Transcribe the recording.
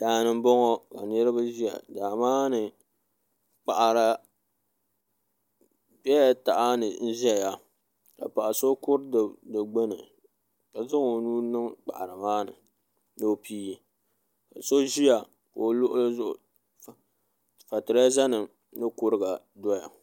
Daani n boŋɔ ka niraba ʒiya daa maa ni kpaɣara bɛla tahani ʒɛya ka paɣaso kuri di gbuni ka zaŋ o nuu niŋ kpaɣara maa ni o pii so ʒiya o luɣuli zuɣu ka fatireza nim ni kueiga doya